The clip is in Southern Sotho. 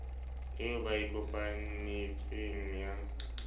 eo ba e kopanetseng ya